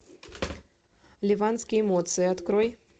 ливанские эмоции открой